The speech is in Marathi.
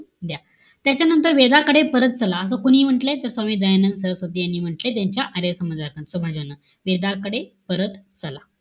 त्याच्यानंतर वेगाकडे परत चला, असं कोणी म्हण्टलंय? स्वामी दयानंद सरस्वती यांनी म्हंटलय. त्यांच्या आर्य समाजा समाजानं. वेगाकडे परत चला.